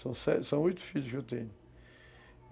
São sete, são oito filhos que eu tenho.